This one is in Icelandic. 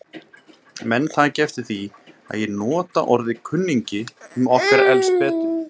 Menn taki eftir því að ég nota orðið kunningi um okkur Elsabetu.